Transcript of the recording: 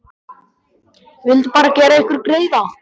Ég vildi bara gera ykkur greiða.